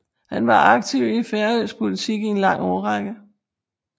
Han var aktiv i færøsk politik i en lang årrække